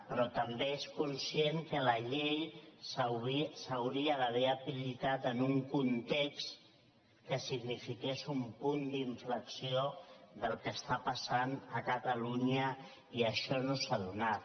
però també és conscient que la llei s’hauria d’haver aplicat en un context que signifiqués un punt d’inflexió del que està passant a catalunya i això no s’ha donat